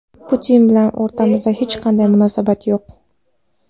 Putin bilan o‘rtamizda hech qanday munosabat yo‘q.